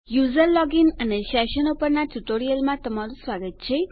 user login અને સેશનો પરના ટ્યુટોરીયલમાં તમારું સ્વાગત છે